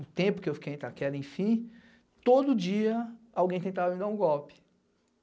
o tempo que eu fiquei em Itaquera, enfim, todo dia alguém tentava me dar um golpe.